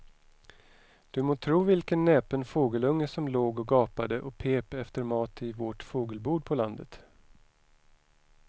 Du må tro vilken näpen fågelunge som låg och gapade och pep efter mat i vårt fågelbo på landet.